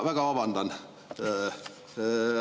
Väga vabandan!